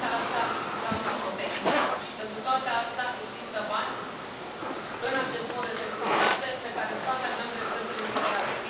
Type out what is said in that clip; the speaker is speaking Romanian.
Toate astea înseamnă protecție și pentru toate astea există bani în acest fond de securitate, pe care statele membre trebuie să i cheltuiască.